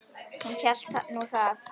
Hún hélt nú það.